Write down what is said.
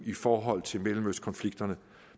i forhold til mellemøstkonflikterne